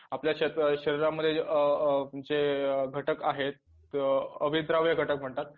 आपल्या शरीरामध्ये अ अ जे घटक आहेत अभिप्राव्य घटक म्हणतात